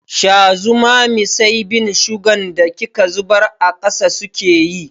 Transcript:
Sha zumami sai bin sugan da kika zubar a ƙasa suke yi.